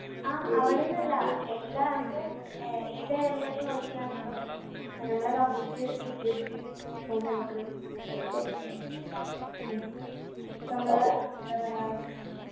ആ അവിടെന്നല്ല എല്ലാ നമ്മുടെ ഏർ ഏത് airline ൽ work എയ്യാണെങ്കിലും നമ്മളെ complete security ഓല് നമ്മക്ക് ensure എയ്യും ഉം ഇപ്പൊ അമ്മളെ എന്താ പറയാ